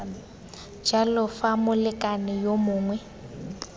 jalo fa molekane yo mongwe